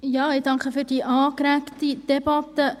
Ich danke für diese angeregte Debatte.